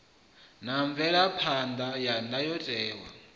na mvelaphan ḓa ya ndayotewa